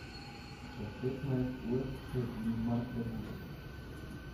Čez petnajst ur se je Ingmar prebudil.